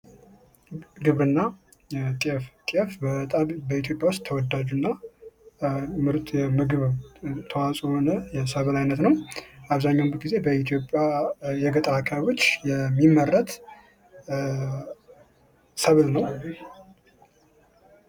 ግብርና ጤፍ:-ጤፍ በጣም በኢትዮጵያ ዉስጥ ተወዳጅ እና ምርት የምግብ ተዋፅኦ የሚሆን ሰብል ነዉ።